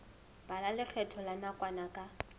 bala lekgetho la nakwana ka